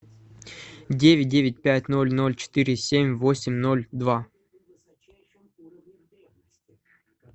девять девять пять ноль ноль четыре семь восемь ноль два